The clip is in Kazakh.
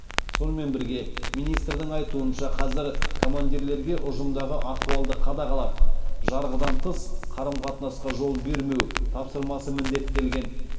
сонымен бірге министрдің айтуынша қазір командирлерге ұжымдағы ахуалды қадағалап жарғыдан тыс қарым қатынасқа жол бермеу тапсырмасы міндеттелген